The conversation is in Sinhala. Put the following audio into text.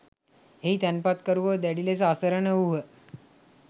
එහි තැන්පතුකරුවෝ දැඩි ලෙස අසරණ වූහ.